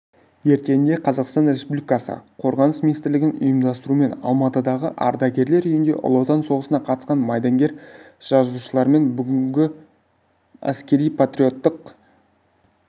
ертеңінде қазақстан республикасы қорғаныс министрлігінің ұйымдастыруымен алматыдағы ардагерлер үйінде ұлы отан соғысына қатысқан майдангер-жазушылармен бүгінде әскери-патриоттық